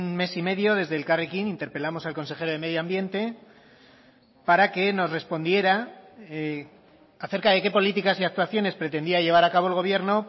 mes y medio desde elkarrekin interpelamos al consejero de medio ambiente para que nos respondiera acerca de qué políticas y actuaciones pretendía llevar a cabo el gobierno